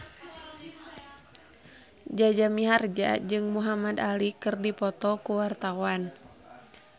Jaja Mihardja jeung Muhamad Ali keur dipoto ku wartawan